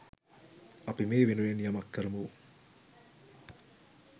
අපි මේ වෙනුවෙන් යමක් කරමු